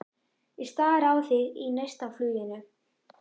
Ég stari á þig í neistafluginu.